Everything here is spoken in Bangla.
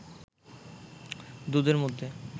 দুধের মধ্যে